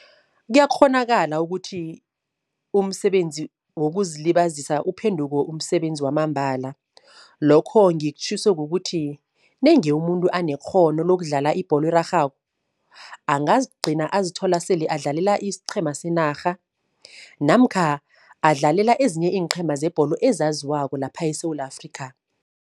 Kuyakghonakala ukuthi umsebenzi wokuzilibazisa uphenduke umsebenzi wamambala. Lokho ngikutjhiso kukuthi nenge umuntu anekghono lokudlala ibholo erarhako, angazigcina azithola sele adlalela isiqhema senarha namkha adlalela ezinye iinqhema zebholo ezaziwako lapha eSewula Afrikha.